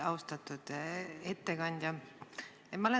Austatud ettekandja!